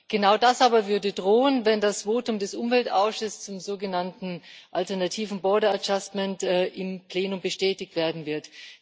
Genau das aber würde drohen, wenn das Votum des Umweltausschusses zum sogenannten alternativen border adjustment im Plenum bestätigt werden wird.